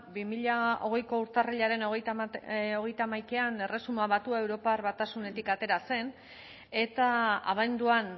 bi mila hogeiko urtarrilaren hogeita hamaikan erresuma batua europar batasunetik atera zen eta abenduan